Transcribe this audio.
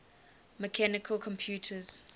mechanical computers